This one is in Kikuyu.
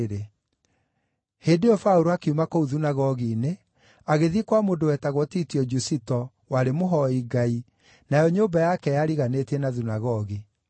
Hĩndĩ ĩyo Paũlũ akiuma kũu thunagogi-inĩ, agĩthiĩ kwa mũndũ wetagwo Titio Jusito, warĩ mũhooi Ngai, nayo nyũmba yake yariganĩtie na thunagogi.